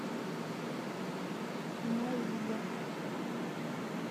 майе